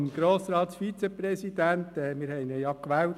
Zum Grossratsvizepräsidenten: Wir haben ihn ja gewählt.